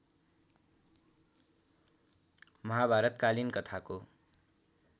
महाभारत कालीन कथाको